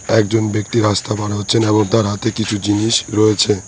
একজন ব্যক্তি রাস্তা পার হচ্ছেন এবং তার হাতে কিছু জিনিস রয়েছে।